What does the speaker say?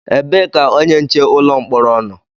Ebee ka onye nche ụlọ mkpọrọ nọ?